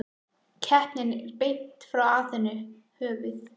Keppnin er í beinni frá Aþenu, höfuð